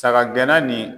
Saga gɛnna nin